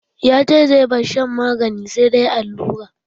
Ya ce zai bar shan magani, sai dai allura.